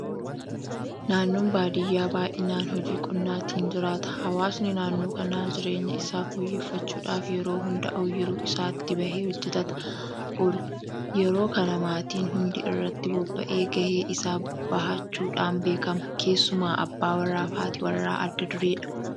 Naannoon baadiyyaa baay'inaan hojii qonnaatiin jiraata. Hawaasni naannoo kanaa jireenya isaa fooyyeffachuudhaaf yeroo hunda ooyiruu isaatti bahee hojjetataa oola. Yeroo kana maatiin hundi irratti bobba'ee gahee isaa bahachuudhaan beekama. Keessumaa abbaa warraa fi haati warraa adda dureedha.